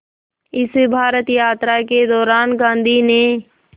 इस भारत यात्रा के दौरान गांधी ने